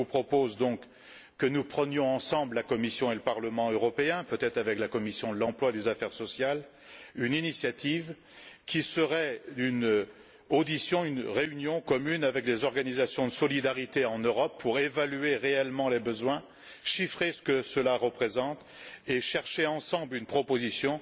Je vous propose donc que nous prenions ensemble, la Commission et le Parlement européen, peut être avec la commission de l'emploi et des affaires sociales, l'initiative d'une audition, d'une réunion commune avec des organisations de solidarité en Europe pour évaluer réellement les besoins, chiffrer ce que cela représente et chercher ensemble une proposition